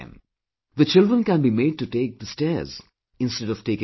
The children can be made to take the stairs instead of taking the lift